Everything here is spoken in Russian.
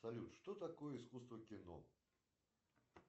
салют что такое искусство кино